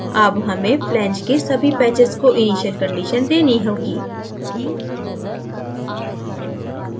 अब हमें flange के सभी patches को initial conditions देनी होगी